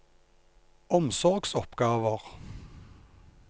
omsorgsoppgaver